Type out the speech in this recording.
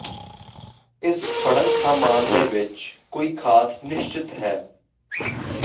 ਇਸ ਫੜਨ ਸਾਮਾਨ ਦੇ ਵਿੱਚ ਕੋਈ ਖਾਸ ਨਿਸ਼ਚਿਤ ਹੈ